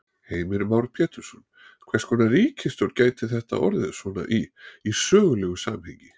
Heimir Már Pétursson: Hvers konar ríkisstjórn gæti þetta orðið svona í, í sögulegu samhengi?